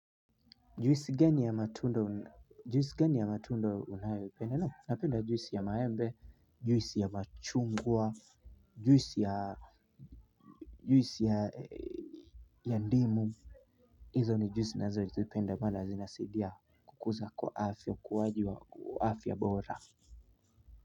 Juisi gani ya matunda. Juisi gani ya matunda unayoipenda? Naam napenda juisi ya maembe, juisi ya machungwa, juisi ya ndimu hizo ni juisi nazozipenda maana zinasaidia kukuza kwa afya ukuaji wa afya bora.